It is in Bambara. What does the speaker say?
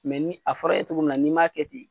ni a fɔr'e ye togo min na n'i m'a kɛ ten